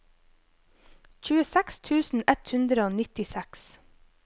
tjueseks tusen ett hundre og nittiseks